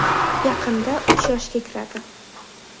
Yaqinda uch yoshga kiradi.